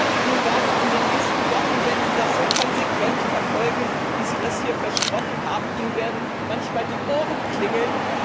Ich glaube, Ihnen werden in den nächsten Wochen wenn Sie das so konsequent verfolgen, wie sie das hier versprochen haben manchmal die Ohren klingeln.